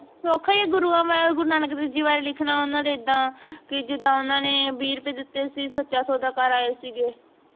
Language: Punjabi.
ਸੌਖਾ ਹੀ ਹੈ ਗੁਰੂਆਂਗੁਰੂ ਨਾਨਕ ਦੇਵ ਜੀ ਬਾਰੇ ਲਿਖਣਾ ਉਨਾਂ ਦੇ ਉਦਾ ਕਿ ਜਿਦਾ ਉਨਾਂ ਨੇ ਬੀ ਰੂਪੇ ਦਿੱਤੇ ਸੀ ਸਾਚਾ ਸੌਦਾਕਾਰ ਆਏ ਸੀਗੇ